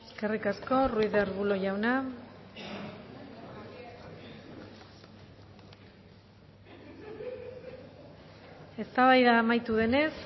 eskerrik asko ruiz de arbulo jauna eztabaida amaitu denez